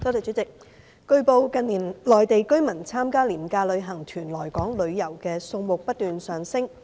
主席，據報，近年內地居民參加廉價旅行團來港旅遊的數目不斷上升。